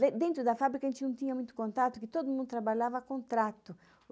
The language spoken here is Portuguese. De dentro da fábrica, a gente não tinha muito contato, porque todo mundo trabalhava a contrato.